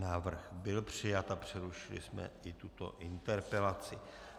Návrh byl přijat a přerušili jsme i tuto interpelaci.